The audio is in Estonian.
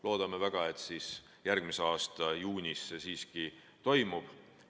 Loodame väga, et järgmise aasta juunis see siiski toimub.